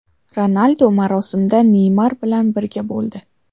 Ronaldu marosimda Neymar bilan birga bo‘ldi.